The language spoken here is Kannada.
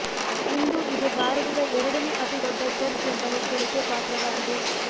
ಇಂದು ಇದು ಭಾರತದ ಎರಡನೇ ಅತಿ ದೊಡ್ಡ ಚರ್ಚ್ ಎಂಬ ಹೆಗ್ಗಳಿಕೆ ಪಾತ್ರವಾಗಿದೆ